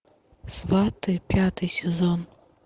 сваты пятый сезон